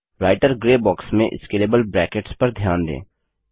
writer grey box में scalable brackets पर ध्यान दें